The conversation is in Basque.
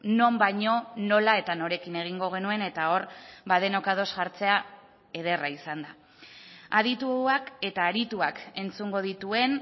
non baino nola eta norekin egingo genuen eta hor denok ados jartzea ederra izan da adituak eta arituak entzungo dituen